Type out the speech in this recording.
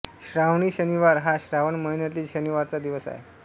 श्रावणी शनिवार हा श्रावण महिन्यातील शनिवारचा दिवस आहे